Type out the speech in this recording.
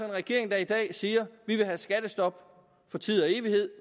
regering der i dag siger vi vil have skattestop for tid og evighed